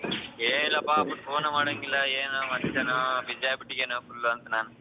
ಏನ್ ಇಲ್ಲಾಪಾ phone ಮಾಡಂಗಿಲ್ಲಾ ಏನು ಮನ್ಸಾನೋ busy ಆಗ್ಬಿಟ್ಟಿದಿಯೇನೋ full ಅಂತ ನಾನು.